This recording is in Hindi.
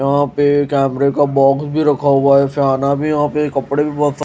यहां पे कैमरे का बॉक्स भी रखा हुआ है फियाना भी यहां पे कपड़े भी बहुत सा--